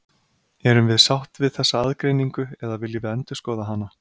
Erum við sátt við þessa aðgreiningu eða viljum við endurskoða hana?